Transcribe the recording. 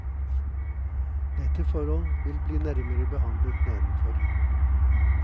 Dette forhold vil bli nærmere behandlet nedenfor.